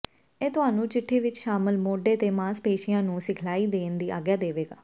ਇਹ ਤੁਹਾਨੂੰ ਚਿੱਠੀ ਵਿਚ ਸ਼ਾਮਲ ਮੋਢੇ ਦੇ ਮਾਸਪੇਸ਼ੀਆਂ ਨੂੰ ਸਿਖਲਾਈ ਦੇਣ ਦੀ ਆਗਿਆ ਦੇਵੇਗਾ